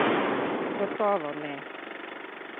Gotovo ne!